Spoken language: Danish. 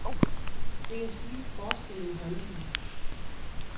Det kan skyldes forskelle i holdninger.